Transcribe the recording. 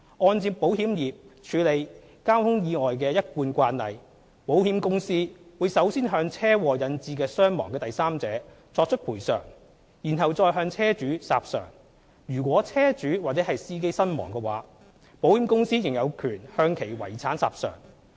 按照保險業界處理交通意外的一貫慣例，保險公司會首先向車禍引致傷亡的第三者作出賠償，然後再向車主索償；如果車主或司機身亡，保險公司仍有權向其遺產索償。